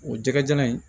O jɛgɛjalan in